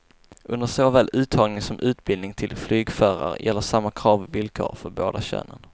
Under såväl uttagning som utbildning till flygförare gäller samma krav och villkor för båda könen.